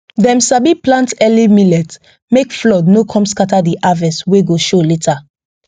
dem sabi plant early millet make flood no come scatter the harvest wey go show later